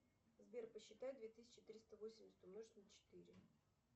сбер посчитай две тысячи триста восемьдесят умножить на четыре